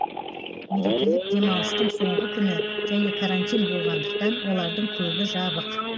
мерекелік демалыстың соңғы күні және карантин болғандықтан олардың көбі жабық